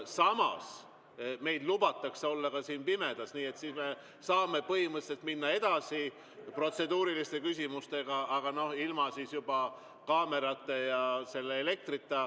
Samas, meil lubatakse siin olla ka pimedas, nii et siis me saame põhimõtteliselt minna protseduuriliste küsimustega edasi, aga juba ilma kaamerate ja elektrita.